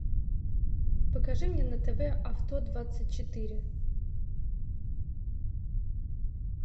покажи мне на тв авто двадцать четыре